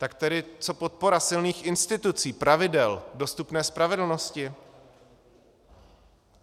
Tak tedy co podpora silných institucí, pravidel, dostupné spravedlnosti?